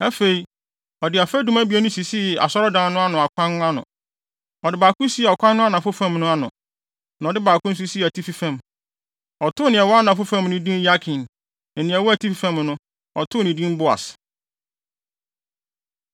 Afei, ɔde afadum abien no sisii Asɔredan no ano kwan ano. Ɔde baako sii ɔkwan no anafo fam no ano, na ɔde baako nso sii atifi fam. Ɔtoo nea ɛwɔ anafo fam no din Yakin, na nea ɛwɔ atifi fam no, ɔtoo no din Boas.